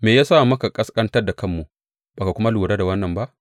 Me ya sa muka ƙasƙantar da kanmu, ba ka kuma lura da wannan ba?’